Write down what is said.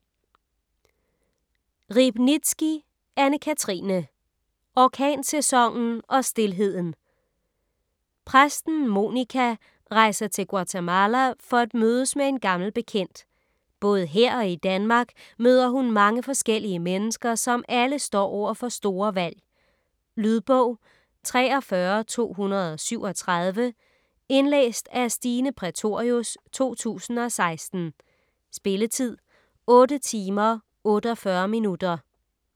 Riebnitzsky, Anne-Cathrine: Orkansæsonen og stilheden Præsten Monica rejser til Guatemala for at mødes med en gammel bekendt. Både her og i Danmark møder hun mange forskellige mennesker, som alle står over for store valg. Lydbog 43237 Indlæst af Stine Prætorius, 2016. Spilletid: 8 timer, 48 minutter.